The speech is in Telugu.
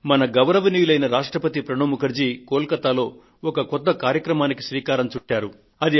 మన గౌరవనీయులైన రాష్ట్రపతి ప్రణబ్ ముఖర్జీ గారు కోల్ కతాలో ఒక కొత్త కార్యక్రమానికి శ్రీకారం చుట్టారు